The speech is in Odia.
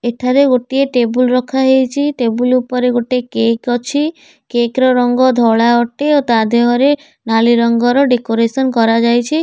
ଏଠାରେ ଗୋଟିଏ ଟେବୁଲ୍ ରଖାହେଇଚି। ଟେବୁଲ୍ ଉପରେ ଗୋଟେ କେକ୍ ଅଛି। କେକ୍ ର ରଙ୍ଗ ଧଳା ଅଟେ ଓ ତା ଦେହରେ ନାଲି ରଙ୍ଗର ଡେକୋରେଶନ କରା ଯାଇଛି।